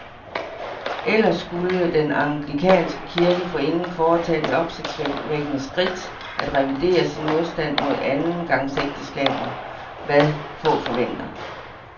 Ellers skulle den anglikanske kirke forinden foretage det opsigtvækkende skridt at revidere sin modstand mod andengangsægteskaber, hvad få venter.